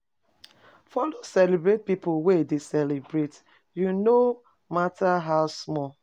Follow celebrate pipo wey de celebrate u no matter how small